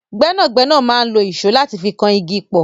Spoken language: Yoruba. Gbẹ́nàgbénà máa n lo ìṣó láti fi kan igi pọ̀.